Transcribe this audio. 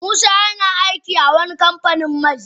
Musa yana aiki a wani kamfanin mai.